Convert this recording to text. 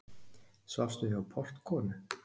Svafstu hjá portkonu?